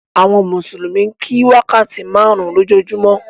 Àwọn mùsùlùmí ń kí wákàtí márùn-ún lójúmọ́.